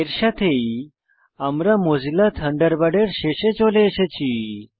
এর সাথেই Mozilla Thunderbird এর শেষে চলে এসেছি